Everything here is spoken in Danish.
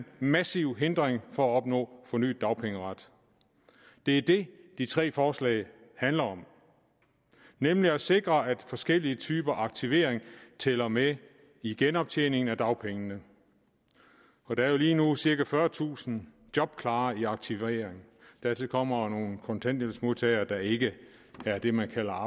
massiv hindring for at opnå fornyet dagpengeret det er det de tre forslag handler om nemlig at sikre at forskellige typer aktivering tæller med i genoptjening af dagpengene der er jo lige nu cirka fyrretusind jobklare i aktivering og dertil kommer nogle kontanthjælpsmodtagere der ikke er det man kalder